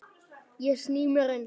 Ég sný mér undan.